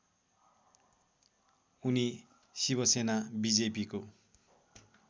उनी शिवसेना बीजेपीको